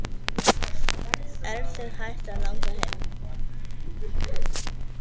Er þig hætt að langa heim?